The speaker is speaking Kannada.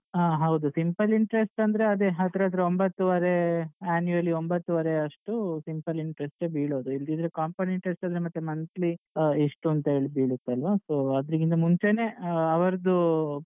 ಆ ಹೌದು simple interest ಅಂದ್ರೆ ಅದೆ ಹತ್ರತ್ರ ಒಂಭತ್ತುವರೆ annually ಒಂಭತ್ತುವರೆ ಅಷ್ಟು simple interest ಯೆ ಬಿಳೋದು. ಇಲ್ದಿದ್ರೆ compound interest ಮತ್ತೆ monthly ಆ ಇಷ್ಟು ಅಂತ ಹೇಳಿ ಬೀಳುತ್ತೆ ಅಲ್ವಾ So ಅದ್ರಿಗಿಂತ ಮುಂಚೇನೆ ಆ ಅವ್ರುದ್ದು.